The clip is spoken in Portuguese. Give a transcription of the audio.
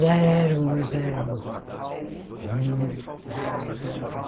Já eram modernos.